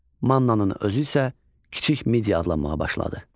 Mannanın özü isə Kiçik Media adlanmağa başladı.